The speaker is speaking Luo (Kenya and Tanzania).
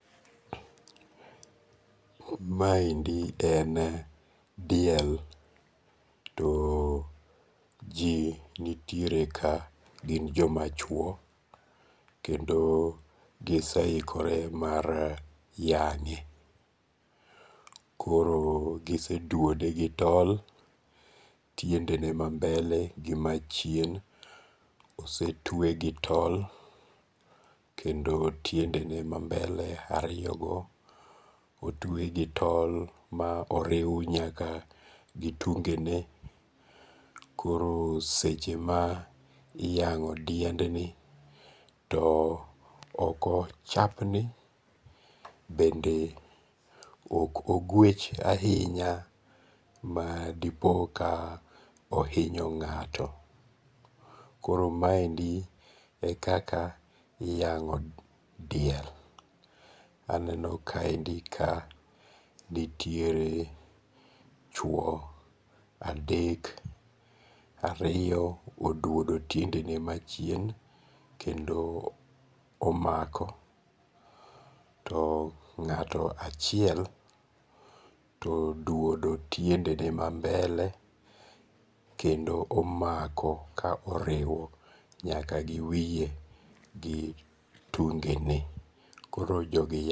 Maendi en diel to ji nitiere ka gin jomachuo, kendo giseikore mar yange', koro giseduode gi tol tiendege mambele gi machien osetwe gi tol, kendo tiendene mabele ariyogo otwe gi tol ma oriw nyaka gi tunge'ne, koro seche ma iyango' diendni too okochapni bende oko gwech ahinya madipo ka ohinyo nga'to koro maendi e kaka iyango' diel. Aneno kaendi ka nitiere chuo adek. Ariyo oduodo tiendene machien, kendo omako. To ng’ato achiel to oduodo tiendene ma mbele kendo omako ka oriwo nyaka gi wiye gi tungene. Koro jogi